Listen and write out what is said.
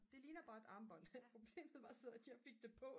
det ligner bare et armbånd problemet var så bare at jeg fik det på